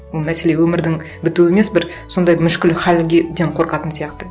ол мәселе өмірдің бітуі емес бір сондай мүшкіл халге қорқатын сияқты